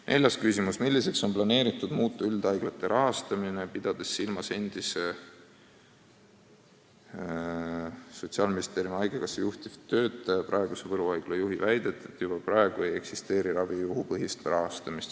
Neljas küsimus: "Milliseks on planeeritud muuta üldhaiglate rahastamine, pidades silmas endise kauaaegse Sotsiaalministeeriumi ja Eesti Haigekassa juhtiva töötaja, praeguse Võru haigla juhi väidet, et juba praegu ei eksisteeri ravijuhupõhist rahastamist?